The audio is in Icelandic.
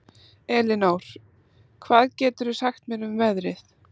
Elinór, hvað geturðu sagt mér um veðrið?